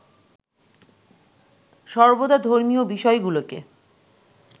সর্বদা ধর্মীয় বিষয়গুলোকে